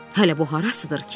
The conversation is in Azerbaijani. Hələ bu harasıdır ki?